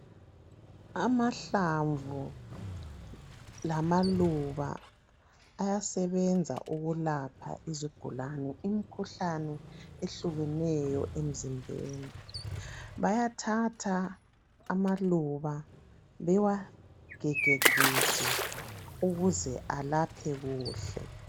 Amahlamvu lamaluba ayasebenza ukulapha izigulane imikhuhlane ehlukeneyo emzimbeni bayathatha amaluba bewagigegige ukuze alaphe kuhle.